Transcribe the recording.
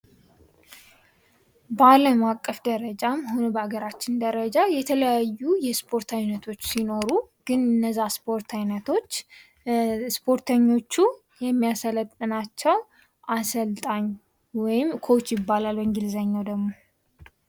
በአለም አቀፍ ደረጃም ይሁን በሀገራችን ደረጃ የተለያዩ የስፖርቶች አይነቶች ሲኖሩ ግን እነዛ ስፖርት አይነቶች ስፖርተኞቹ የሚያሰለጥናቸው አሰልጣኝ ወይም " ኮች " ይባላል በእንግሊዝኛ ደግሞ